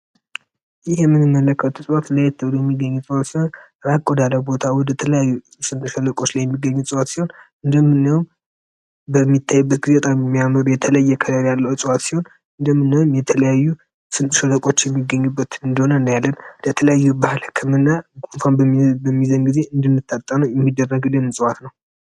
ይህ የምትመለከቱት የእጽዋት ሲሆን እራቅ ወዳለ ስምጥ ሸለቆ አካባቢዎች ላይ የሚገኙ እጽዋት ሲሆን እንደምናየው በጣም የሚያምር በሚታይበት ጊዜ ደስ የሚል ከለር ያለው እጽዋት ነው እንደምናየው የተለያዩ ስምጥ ሸለቆች አካባቢ የሚገኝ መሆኑን እናያለን እንደሚታየው ህክምና በሚደረግበት ጊዜ የምንጠቀመው እፅዋት ነው።